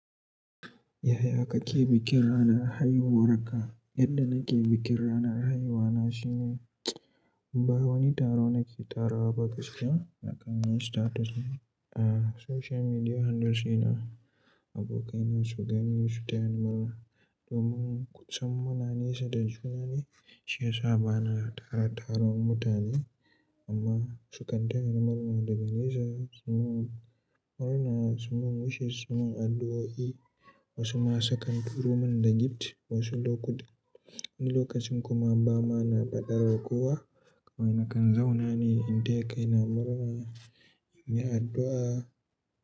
Yaya kake bikin ranar haihuwarka? Yadda nake bikin ranar haihuwa na shine ba wani taro nake tarawa ba gaskiya nakan yi status a social media handles ina, abokaina su gani su tayar murna. Domin kusan muna nesu da juna ne, shi ya sa bana tara taruwan mutane amma su kan taya ni murna daga nesa. Murna, su mun wishes, su mun addu'o'i. Wasu ma su kan turo min da gift wasu lokuta, wani lokacin kuma ba ma na ba da daga wa kowa. Kawai nakan zauna ne in taya kaina murna, in yi addu'a.